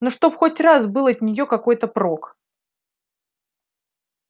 ну чтоб хоть раз был от неё какой-то прок